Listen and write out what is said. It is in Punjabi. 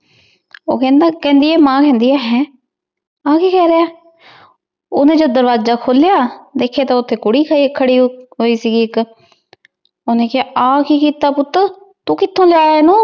ਊ ਕੇਹ੍ਨ੍ਦੀ ਆਯ ਮਾਨ ਕੇਹ੍ਨ੍ਦੀ ਆਯ ਹੇੰ ਆਯ ਕੀ ਕਹ ਰਯ ਈਨ ਓਹਨੇ ਜਦੋਂ ਦਰਵਾਜ਼ਾ ਖੋਲ੍ਯਾ ਦੇਖ੍ਯਾ ਤਾਂ ਓਥੀ ਕੁਰੀ ਖਰੀ ਸੀ ਏਇਕ ਓਹਨੇ ਕਹਯ ਆ ਕੀ ਕੀਤਾ ਪੁਤ ਆਯ ਕਿਥੋਂ ਲੇ ਆਯਾ ਵਾਂ